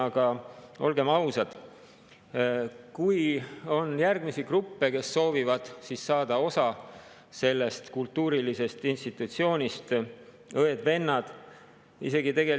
Aga olgem ausad, võib olla järgmisi gruppe, kes soovivad saada osa sellest kultuurilisest institutsioonist, õed-vennad.